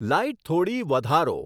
light થોડી વધારો